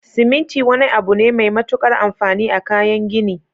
siminti wani abune Mai matukar anfani a kayan gini